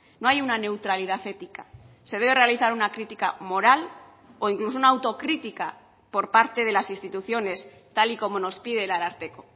no hay una neutralidad ética se debe realizar una crítica moral o incluso una autocritica por parte de las instituciones tal y como nos pide el ararteko